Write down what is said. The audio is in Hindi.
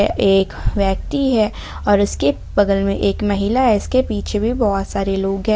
यह एक व्यक्ति है और उसके बगल में एक महिला है इसके पीछे भी बहुत सारे लोग हैं।